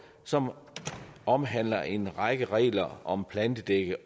som omhandler en række regler om plantedække